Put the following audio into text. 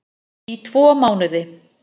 Í tvo mánuði